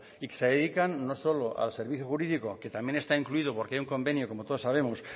y se dedican no solo al servicio jurídico que también está incluido porque hay un convenio como todos sabemos